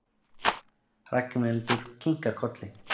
Ragnhildur kinkar kolli.